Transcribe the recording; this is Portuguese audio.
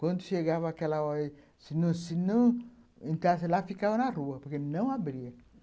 Quando chegava aquela hora, se não entrasse lá, ficavam na rua, porque não abria.